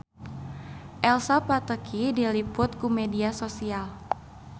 Elsa Pataky diliput ku media nasional